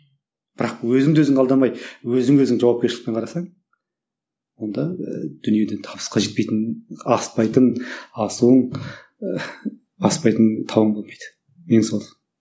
бірақ өзіңді өзің алдамай өзіңе өзің жауапкершілікпен қарасаң онда ы дүниеден табысқа жетпейтін аспайтын асуың ыыы баспайтын тауың болмайды